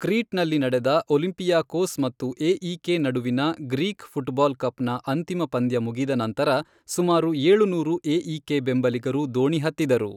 ಕ್ರೀಟ್ನಲ್ಲಿ ನಡೆದ ಒಲಿಂಪಿಯಾಕೋಸ್ ಮತ್ತು ಎಇಕೆ ನಡುವಿನ ಗ್ರೀಕ್ ಫುಟ್ಬಾಲ್ ಕಪ್ನ ಅಂತಿಮ ಪಂದ್ಯ ಮುಗಿದ ನಂತರ ಸುಮಾರು ಏಳುನೂರು ಎಇಕೆ ಬೆಂಬಲಿಗರು ದೋಣಿ ಹತ್ತಿದರು.